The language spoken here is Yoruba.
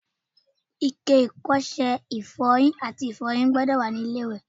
Ike ìkó ọṣẹ ifọyin àti Ifọ́yín sì gbọ́dọ̀ wá nínú ilé-iwẹ̀.